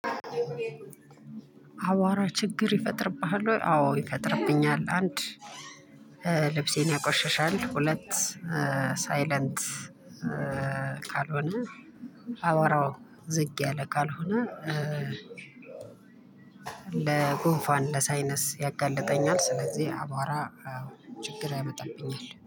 አቧራ ችግር ይፈጥርብሃል ወይ? አዎ ይፈጥርብኛል። አንድ ልብሴን ያቆሸሻል። ሁለት ሳይለንት ካልሆነ አቧራው ዝቅ ያለ ካልሆነ ለጉንፋን ለሳይነስ ያጋልጠኛል። ስለዚህ አቧራ ችግር ያመጣብኛል